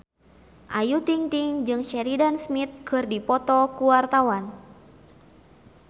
Ayu Ting-ting jeung Sheridan Smith keur dipoto ku wartawan